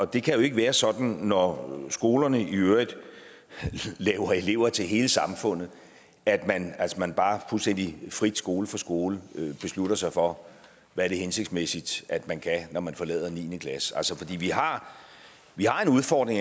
det kan jo ikke være sådan når skolerne i øvrigt laver elever til hele samfundet at man bare fuldstændig frit skole for skole beslutter sig for hvad det er hensigtsmæssigt at man kan når man forlader niende klasse vi har har en udfordring